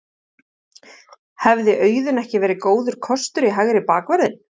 Hefði Auðun ekki verið góður kostur í hægri bakvörðinn?